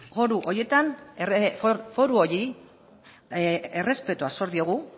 foru horiei errespetua zor diogu